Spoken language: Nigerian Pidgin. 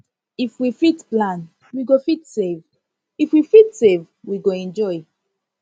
if we fit plan we go fit save if we fit save we go enjoy